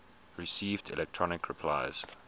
received electronic replies